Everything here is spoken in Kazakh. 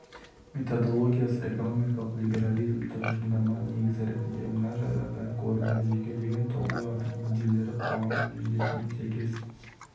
методологиясы экономикалық либерализм тұжырымдама негізі ретінде мына жайлардан көрінеді жекелеген тұлғалардың мүдделері қоғамның мүддесімен сәйкес